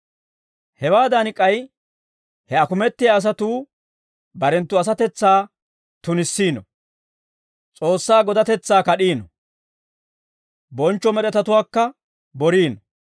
Hewaadan k'ay he akumettiyaa asatuu barenttu asatetsaa tunissiino; S'oossaa godatetsaa kad'iino; bonchcho med'etatuwaakka boriino.